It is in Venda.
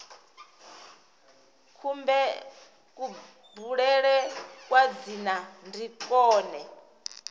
kubulele kwa dzina ndi kwone